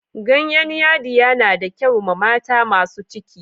Ganyen yadiya na da kyau ma mata masun ciki.